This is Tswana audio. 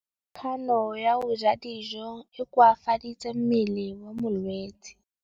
Kganô ya go ja dijo e koafaditse mmele wa molwetse.